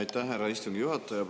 Aitäh, härra istungi juhataja!